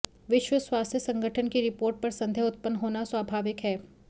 विश्व स्वास्थ्य संगठन की रिपोर्ट पर संदेह उत्पन्न होना स्वाभाविक है